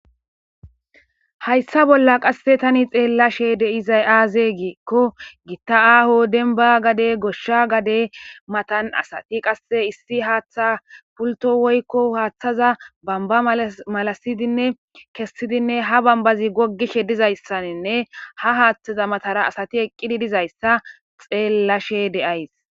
Hayssa bolla tani qasse xelashe de'zayi azze gikko giththa aaho demba gadde gosha gadde mathan assathi qasse issi haththa pulththo woykko haththaza bomba malasaidine kessdinne ha bambazi gogishe dizayssanne ha haththeza mathen assathi eqidi dizayssa xelashhshe de'ss.